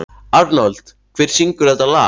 Arnold, hver syngur þetta lag?